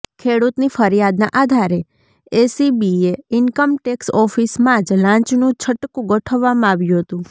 ખેડૂતની ફરિયાદના આધારે એસીબીએ ઈન્કમટેક્ષ ઓફિસમાં જ લાંચનું છટકુ ગોઠવવામાં આવ્યું હતું